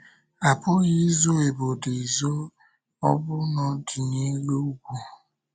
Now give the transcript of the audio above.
A pụghị izo obodo ezo ma ọ bụrụ na ọ dị n’elu ugwu.